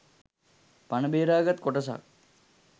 පණ බේරාගත් කොටසක්